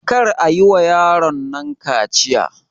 Kar ayi wa yaron nan kaciya!